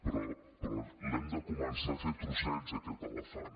però l’hem de començar a fer trossets aquest elefant